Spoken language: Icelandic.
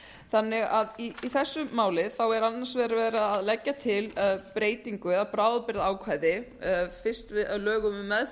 þannig að í þessu máli er annars vegar verið að leggja til breytingu eða bráðabirgðaákvæði fyrst á lögum um meðferð